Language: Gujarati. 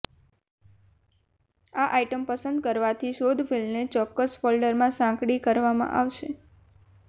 આ આઇટમ પસંદ કરવાથી શોધ ફીલ્ડને ચોક્કસ ફોલ્ડરમાં સાંકડી કરવામાં આવશે